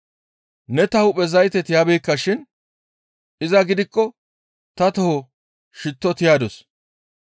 Ne ta hu7e zayte tiyabeekka shin iza gidikko ta toho shitto tiyadus.